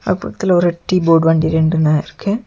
அது பக்கத்துல ஒரு டீ போர்டு வண்டி ரெண்டுன இருக்கு.